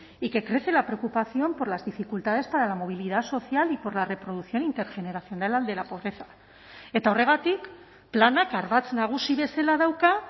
y que crece la preocupación por las dificultades para la movilidad social y por la reproducción intergeneracional de la pobreza eta horregatik planak ardatz nagusi bezala dauka